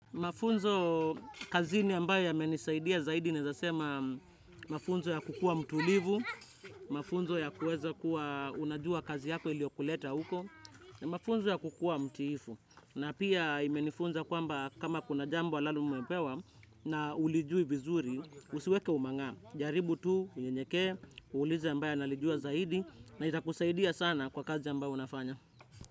Mafunzo kazini ambayo yamenisaidia zaidi naeza sema mafunzo ya kukua mtulivu, mafunzo ya kuweza kuwa unajua kazi yako iliokuleta huko, mafunzo ya kukua mtiifu. Na pia imenifunza kwamba kama kuna jambo ambalo umepewa na hulijui vizuri, usiweke umang'aa. Jaribu tu, unyenyeke, uulize ambae nalijua zaidi na itakusaidia sana kwa kazi ambayo unafanya.